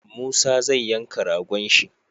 Musa zai yanka ragon shi